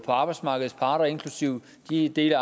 arbejdsmarkedets parter inklusive de dele